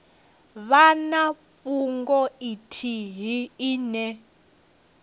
vha na fhungo ithihi ine